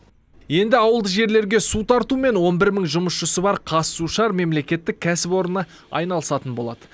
енді ауылды жерлерге су тартумен он бір мың жұмысшысы бар қазсушар мемлекеттік кәсіпорны айналысатын болады